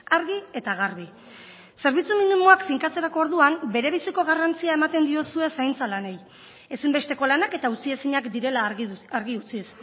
argi eta garbi zerbitzu minimoak finkatzerako orduan berebiziko garrantzia ematen diozue zaintza lanei ezinbesteko lanak eta utziezinak direla argi utziz